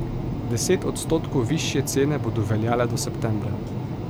Deset odstotkov višje cene bodo veljale do septembra.